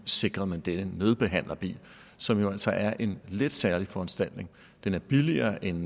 sikrede denne nødbehandlerbil som jo altså er en lidt særlig foranstaltning den er billigere end